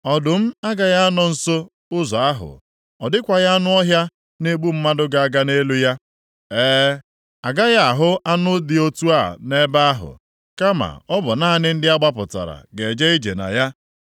Ọdụm agaghị anọ nso ụzọ ahụ. Ọ dịkwaghị anụ ọhịa na-egbu mmadụ ga-aga nʼelu ya. E, agaghị ahụ anụ dị otu a nʼebe ahụ. Kama, ọ bụ naanị ndị a gbapụtara ga-eje ije na ya.